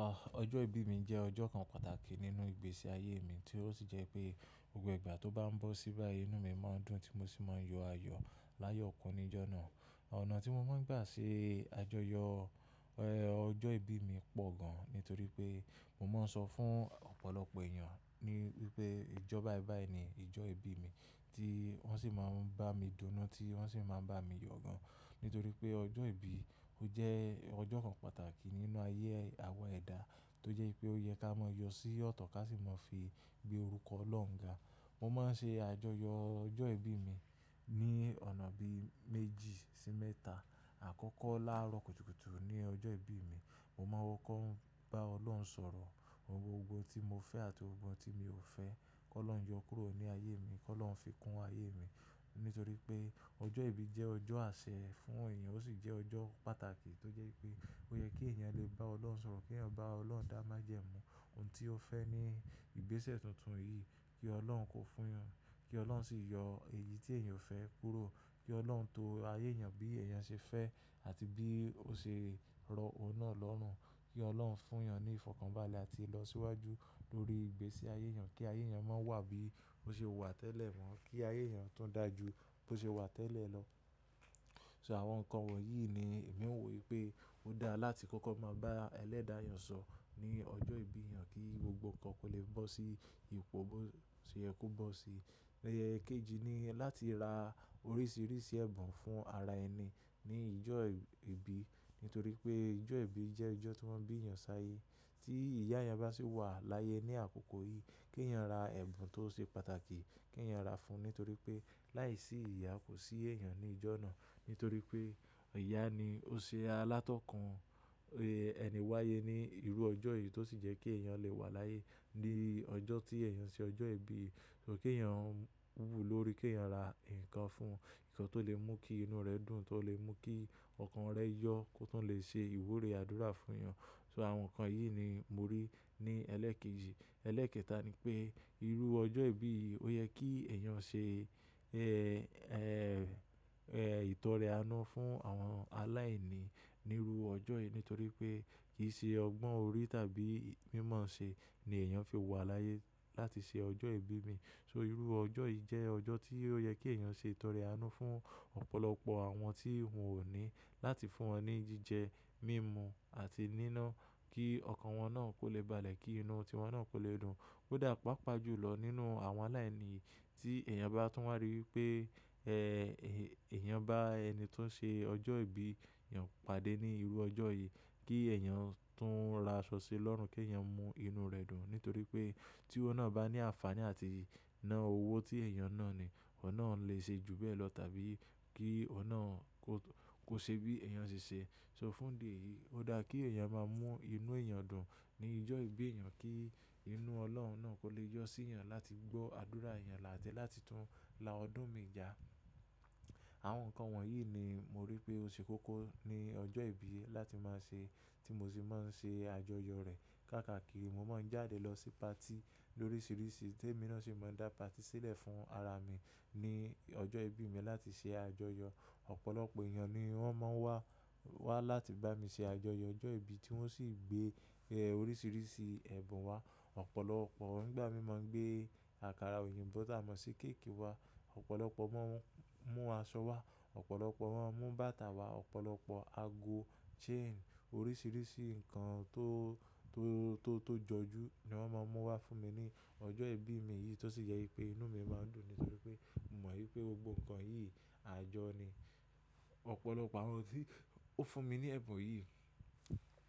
Ah ọjọ́ ìbí mi jẹ́ ọjọ́ kan pàtàkì nínú ìgbésí ayé mi tí ó sì jẹ́ pé gbogbo ìgbà tó bá ń bọ́ sí bá yí inú mi máa ń dùn tí mo sì máa ń yọ ayọ̀ láyọ̀kún ní ọjọ́ náà. Ọ̀nà tí mo máa ń gbà ṣe àjọyọ̀, ẹ́, ọjọ́ ìbí mi pọ̀ gan ní torí pé mo máa ń sọ fún ọ̀pọ̀lọpọ̀ èèyàn ní pé ìjọ báì báì ni ìjọ ìbí mi tí wọ́n sì máa ń bá mi dunnú tí wọ́n sì máa ń bá mi yọ̀ gan. Ní torí pé ọjọ́ ìbí ó jẹ́ ọjọ́ kan pàtàkì nínú ayé àwa ẹ̀dá tó jẹ́ pé ó yẹ ká mọ yọ sí ọ̀tọ̀ ká sì mọ fi gbé orúkọ Ọlọ́run ga. Mo máa ń ṣe àjọyọ̀ ọjọ́ ìbí mi ní ọ̀nà bí méjì sí mẹ́ta. Àkọ́kọ́ láàárọ̀ kùtùkùtù ní ọjọ́ ìbí mi, mo máa wọkọ́ ń bá Ọlọ́run sọ̀rọ̀, gbogbo ohun tí mo fẹ́ àti ohun tí mo ò fẹ́ kó lọ́un yọ kúrò ní ayé mi, kó lọ́un fi kún ayé mi. Ní torí pé ọjọ́ ìbí jẹ́ ọjọ́ àṣẹ fún èèyàn ó sì jẹ́ ọjọ́ pàtàkì tó jẹ́ pé ó yẹ kí èèyàn lè bá Ọlọ́run sọ̀rọ̀, kí èèyàn bá Ọlọ́run dá májẹ̀mú ohun tí ó fẹ́ ní ìgbésẹ̀ tuntun yìí, kí Ọlọ́run kó fún wọn, kí Ọlọ́run sì yọ èyí tí èèyàn ò fẹ́ kúrò, kí Ọlọ́run tó ayé èèyàn bí èèyàn ṣe fẹ́ àti bí ó ṣe rọ̀ ọ́n náà lọ́rùn, kí Ọlọ́run fún èèyàn ní ìfọ̀kànbalẹ̀ àti ìlọsíwájú lórí ìgbésí ayé èèyàn kí ayé èèyàn máa wà bí ó ṣe wà tẹ́lẹ̀ mọ́, kí ayé èèyàn tún dà ju bó ṣe wà tẹ́lẹ̀ lọ. So àwọn nǹkan wọ̀nyí ni èmi ń wò pé ó dá láti kọ́kọ́ máa bá ẹlẹ́dàáyọ̀ sọ̀ ní ọjọ́ ìbí èèyàn kí gbogbo nǹkan kó lè bọ́ sí ìpò bó ṣe yẹ kó bọ́ sí. Ẹ̀, kejì ni láti ra oríṣiríṣi ẹ̀bùn fún ara ẹni ní ìjọ ìbí. Ní torí pé ìjọ ìbí jẹ́ ìjọ tí wọ́n bí èèyàn sí ayé. Tí ìyá èèyàn bá sì wà láyé ní àkókò yìí, kí èèyàn ra ẹ̀bùn tó ṣe pàtàkì kí èèyàn ra fún un. Ní torí pé láìsí ìyá kò sí èèyàn ní ìjọ náà. Ní torí pé ìyá ni ó ṣe alátọ́kùn, ẹ́, ẹni wáyé ní irú ọjọ́ yìí tó sì jẹ́ kí èèyàn lè wà láyé ní ọjọ́ tí èèyàn ṣe ọjọ́ ìbí yìí. So kí èèyàn wú lórí kí èèyàn ra ǹkan fún un, ǹkan tó lè mú kí inú rẹ̀ dùn, tó lè mú kí ọkàn rẹ̀ yọ̀ kó tún lè ṣe ìwúre àdúrà fún èèyàn. So àwọn nǹkan yìí ni mo rí ní ẹlẹ́ẹ̀kejì. Ẹlẹ́ẹ̀kẹta ni pé irú ọjọ́ ìbí yìí ó yẹ kí èèyàn ṣe, ẹ́, ẹ́, ẹ́, ìtọrẹ anú fún àwọn aláìní ní irú ọjọ́ yìí. Ní torí pé kì í ṣe ọgbọ́n orí tàbí mímọ̀ọ́ṣẹ ni èèyàn fi wà láyé láti ṣe ọjọ́ ìbí mi. So irú ọjọ́ yìí jẹ́ ọjọ́ tí ó yẹ kí èèyàn ṣe ìtọrẹ anú fún ọ̀pọ̀lọpọ̀ àwọn tí wọn ò ní láti fún wọn ní jíjẹ, mímu àti níná kí ọkàn wọn náà kó lè balẹ̀ kí inú tiwọn náà kó lè dùn. Ó dà paapaa ju lọ nínú àwọn aláìní yìí tí èèyàn bá tún wá rí pé, ẹ́, èèyàn bá ẹni tó ń ṣe ọjọ́ ìbí èèyàn pàdé ní irú ọjọ́ yìí kí èèyàn tún ra ṣọṣo lọ́rùn kí èèyàn mú inú rẹ̀ dùn. Ní torí pé tí ó náà bá ní àǹfààní àti ná owó tí èèyàn náà ní, ọ̀hun náà lè ṣe ju bẹ́ẹ̀ lọ tàbí kí ohun náà kò ṣe bí èèyàn ṣe ṣe. So fún dè yìí ó dá kí èèyàn máa mú inú èèyàn dùn ní ìjọ ìbí èèyàn kí inú Ọlọ́run náà kó lè yọ sí èèyàn láti gbọ́ àdúrà èèyàn láti tún la ọdún mi já. Àwọn nǹkan wọ̀nyí ni mo rí pé ó ṣe kókó ní ọjọ́ ìbí láti máa ṣe tí mo sì máa ń ṣe àjọyọ̀ rẹ̀. Kàkà kíri mo máa ń jáde lọ sí patí lóríṣiríṣi. Tè mí náà sì máa ń dá patí sílẹ̀ fún ara mi ní ọjọ́ ìbí mi láti ṣe àjọyọ̀. Ọ̀pọ̀lọpọ̀ èèyàn ni wọ́n máa ń wá, wá láti bá mi ṣe àjọyọ̀ ọjọ́ ìbí tí wọ́n sì gbé, ẹ́, oríṣiríṣi ẹ̀bùn wá. Ọ̀pọ̀lọpọ̀ wọ́n nígbà mí máa ń gbé àkàrà òyìnbó tà mọ́ sí kéèkì wá. Ọ̀pọ̀lọpọ̀ mọ́n mú aṣọ wá. Ọ̀pọ̀lọpọ̀ wọ́n mú bàtà wá. Ọ̀pọ̀lọpọ̀ ago, chain, oríṣiríṣi nǹkan tó, tó, tó, tó jọjú ni wọ́n máa ń mú wá fún mi ní ọjọ́ ìbí mi yìí tó sì jẹ wipé inú mi máa ń dùn nítorí pé mò mọ̀ wípé gbogbo nǹkan yìí ajọ́ ni. Ọ̀pọ̀lọpọ̀ àwọn tí ó fún mi ní ẹ̀bùn yìí